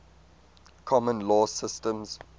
common law systems